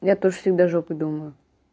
я тоже всегда жопой думаю